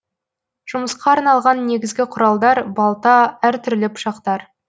жұмысқа арналған негізгі құралдар балта әр түрлі пышақтар